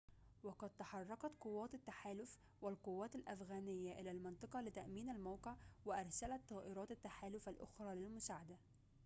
وقد تحركت قوات التحالف والقوات الأفغانية إلى المنطقة لتأمين الموقع وأرسلت طائرات التحالف الأخرى للمساعدة